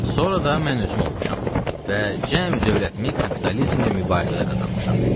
Sonra da mən özüm olmuşam və cəmi dövlətimi kapitalizmlə mübarizədə qazanmışam.